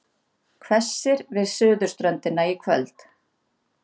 Hvessir við suðurströndina í kvöld